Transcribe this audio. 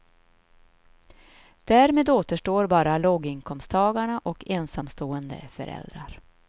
Därmed återstår bara låginkomsttagarna och ensamstående föräldrar.